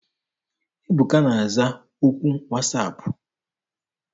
Ebuka na-aza okwu wasaapụ.